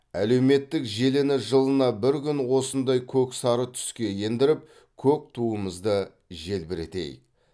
әлеуметтік желіні жылына бір күн осындай көк сары түске ендіріп көк туымызды желбіретейік